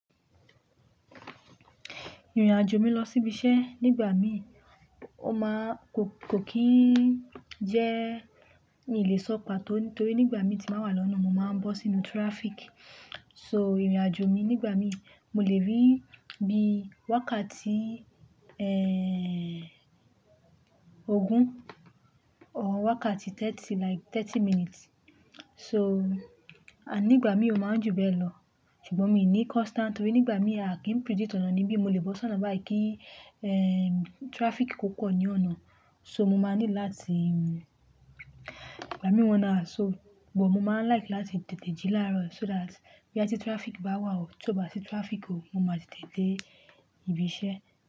Ìrìn-àjò mi lọ sí ibi iṣẹ́ nígbà mí, ó máa kò kì í jẹ́ ní lè sọ pàtó nítorí nígbà mí tí màá wà lọ́nà, mo máa ń bọ́ sínú traffic. So ìrìn-àjò mi nígbà mí, mo lè rí bí wákàtí, ogún or wákàtí thirty like thirty minutes. So, à nígbà mí ó máa ń jù bẹ́ẹ̀lọ. Ṣùgbọ́n mí ní constant torí nígbà mí a kì í predict ọ̀nà níbí mo lè bọ́ sọ́nà báyì kí, traffic kò pọ̀ ní ọ̀nà. So mo máa need láti ìgbà mi one hours so but mo máa ń like láti tètè jí láàrọ̀ so that bóyá tí traffic báwà o tí ó básì traffic o mo máa tètè dé ibi ṣe.